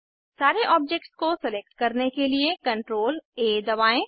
सारे ऑब्जेक्ट्स को सेलेक्ट करने के लिए CTRLA दबाएं